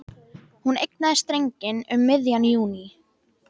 Hún eignaðist drenginn um miðjan júní.